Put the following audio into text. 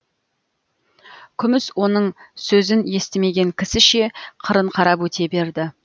күміс оның сөзін естімеген кісіше қырын қарап өте берді